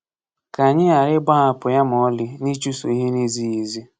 Ka anyị ghara ịgbahapụ ya ma ọlị n’ịchụso ihe na-ezighị ezi.